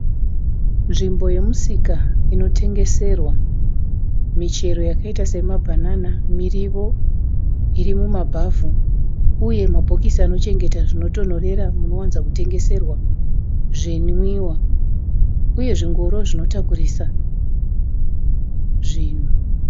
Nzimbo yemusika inotengeserwa michero yakaita Sema banana miriwo iri mumabhavhu uye mabhokisi anochengeta zvinotonhorera zvinowanzotengeserwa zvimwiwa uye zvingoro zvinotakurisa zvinhu